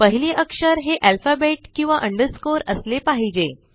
पहिले अक्षर हे अल्फाबेट किंवा अंडरस्कोर असले पाहिजे